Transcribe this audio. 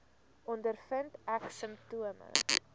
ondervind ek simptome